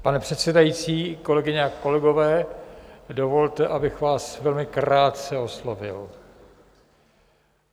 Pane předsedající, kolegyně a kolegové, dovolte, abych vás velmi krátce oslovil.